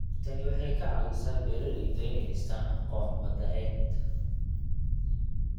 Tani waxay ka caawisaa beeralayda inay dhistaan ??aqoon wadareed.